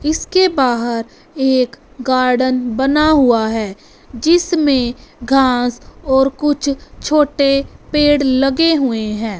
इसके बाहर एक गार्डन बना हुआ है जिसमें घास और कुछ छोटे पेड़ लगे हुए हैं।